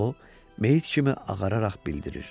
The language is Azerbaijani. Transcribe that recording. O meyit kimi ağararaq bildirir.